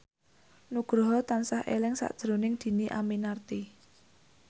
Nugroho tansah eling sakjroning Dhini Aminarti